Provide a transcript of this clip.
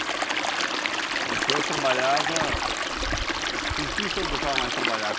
E o senhor trabalhava... Com o que o senhor gostava mais trabalhar?